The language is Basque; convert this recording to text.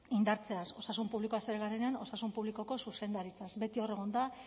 indartzea osasun publikoaz ari garenean osasun publikoko zuzendaritzaz beti hor egon da